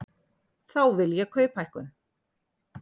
Þá vil ég kauphækkun.